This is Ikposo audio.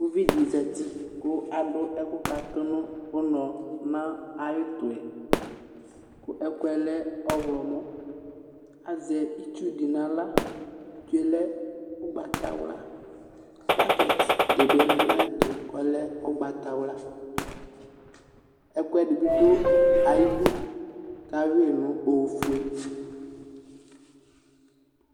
Uvi di zati kʋ adʋ ɛkʋ katʋ nʋ ʋnɔ nʋ sy'ʋtʋ yɛ Ɛkʋɛlɛ ɔɣlɔmɔ Azɛ itsu di n'ala Itsue lɛ ʋgbatawla sachet di bi lɛ n'ayɛtʋ k'ɔlɛ ʋgbatawla Ɛkʋɛdi bi dʋ ayidu k'ayui nʋ ofue